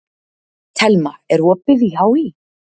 Thelma, er opið í HÍ?